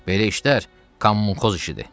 Belə işlər kommunxoz işidir.